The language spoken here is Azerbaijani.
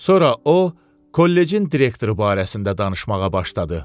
Sonra o, kollecin direktoru barəsində danışmağa başladı.